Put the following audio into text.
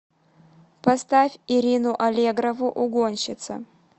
поставь ирину аллегрову угонщица